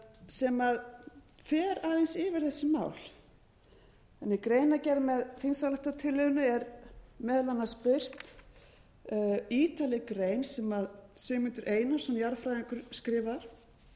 sem fer aðeins yfir þessi mál í greinargerð með þingsályktunartillögunni er meðal annars birt ítarleg grein sem sigmundur einarsson jarðfræðingur skrifar